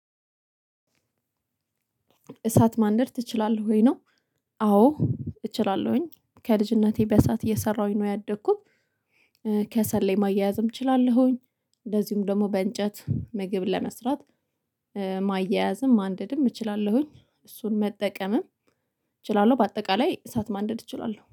እሳት ማንደድ ትችላለሁ ወይ ነው አዎ እችላለሁኝ ከልጅነቴ በሰአት እየሰራሁኝ ነው ያደኩት። ከሰል ላይ ማያያዝም እችላለሁኝ እንደዚሁም ደግሞ በእንጨት ምግብ ለመስራት ማያያዝም ማንደድም እችላለሁኝ እሱን መጠቀምም እችላለሁ። በአጠቃላይ እሳት ማንደድ እችላለሁ።